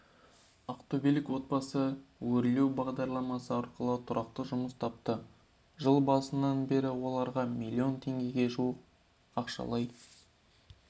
ақтөбелік отбасы өрлеу бағдарламасы арқылы тұрақты жұмыс тапты жыл басынан бері оларға миллион теңгеге жуық ақшалай